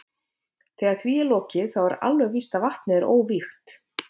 Þegar því er lokið þá er alveg víst að vatnið er óvígt.